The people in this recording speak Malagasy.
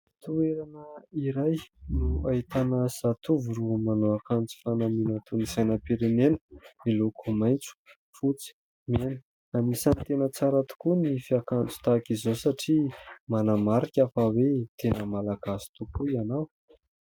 Toerana iray no ahitana zatovo roa manao akanjo fanamina toa ny sainam-pirenena miloako maitso, fotsy, mena. Anisany tena tsara tokoa ny fiakanjo tahaka izao satria manamarika fa hoe tena Malagasy tokoa ianao.